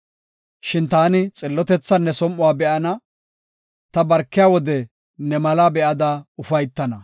Shin taani xillotethan ne som7uwa be7ana; ta barkiya wode ne malaa be7ada ufaytana.